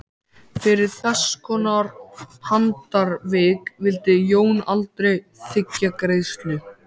Fyrir þesskonar handarvik vildi Jón aldrei þiggja greiðslu.